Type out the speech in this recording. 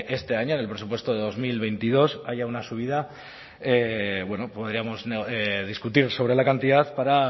este año en el presupuesto de dos mil veintidós haya una subida podríamos discutir sobre la cantidad para